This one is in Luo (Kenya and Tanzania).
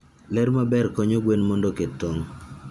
Ler maber konyo gwen mondo oket tong'.